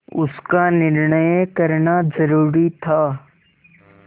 उसका निर्णय करना जरूरी था